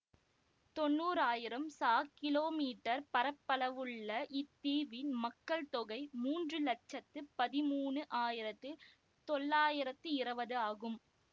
தொன்னூறு ஆயிரம் ச கிலோமீட்டர் பரப்பளவுள்ள இத்தீவின் மக்கள் தொகை மூன்று இலட்சத்து பதிமூணு ஆயிரத்து தொள்ளாயிரத்தி இருபது ஆகும்